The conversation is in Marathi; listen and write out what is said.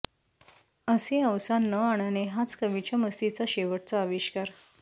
असे अवसान न आणणे हाच कवीच्या मस्तीचा शेवटचा आविष्कार